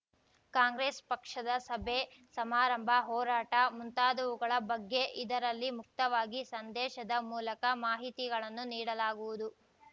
ಕಾಂಗ್ರೆಸ್‌ ಪಕ್ಷದ ಸಭೆ ಸಮಾರಂಭ ಹೋರಾಟ ಮುಂತಾದವುಗಳ ಬಗ್ಗೆ ಇದರಲ್ಲಿ ಮುಕ್ತವಾಗಿ ಸಂದೇಶದ ಮೂಲಕ ಮಾಹಿತಿಗಳನ್ನು ನೀಡಲಾಗುವುದು